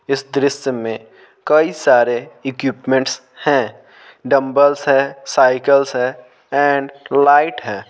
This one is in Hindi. इस दृश्य में कई सारे इक्विपमेंट्स हैं डंबल्स है साइकिल्स है एंड लाइट है।